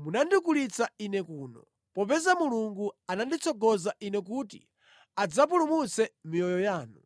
munandigulitsa ine kuno, popeza Mulungu ananditsogoza ine kuti adzapulumutse miyoyo yanu.